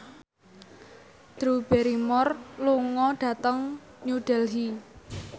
Drew Barrymore lunga dhateng New Delhi